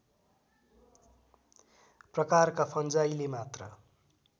प्रकारका फन्जाइले मात्र